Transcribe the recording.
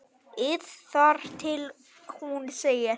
ið þar til hún segir